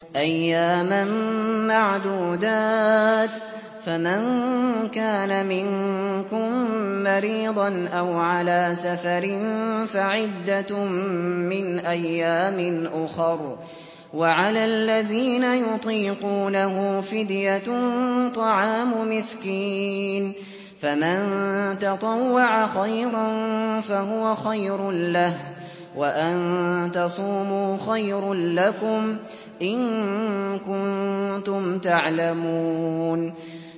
أَيَّامًا مَّعْدُودَاتٍ ۚ فَمَن كَانَ مِنكُم مَّرِيضًا أَوْ عَلَىٰ سَفَرٍ فَعِدَّةٌ مِّنْ أَيَّامٍ أُخَرَ ۚ وَعَلَى الَّذِينَ يُطِيقُونَهُ فِدْيَةٌ طَعَامُ مِسْكِينٍ ۖ فَمَن تَطَوَّعَ خَيْرًا فَهُوَ خَيْرٌ لَّهُ ۚ وَأَن تَصُومُوا خَيْرٌ لَّكُمْ ۖ إِن كُنتُمْ تَعْلَمُونَ